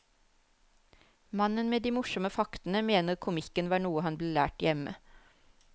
Mannen med de morsomme faktene mener komikken var noe han ble lært hjemme.